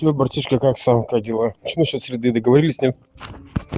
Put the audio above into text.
привет братишка как сам как дела что на счёт среды договорились нет